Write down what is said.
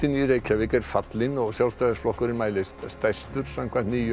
í Reykjavík er fallinn og Sjálfstæðisflokkurinn mælist stærstur samkvæmt nýjum